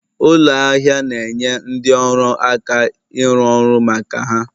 Ụlọ ahịa na-enye ndị ọrụ aka ịrụ ọrụ maka ha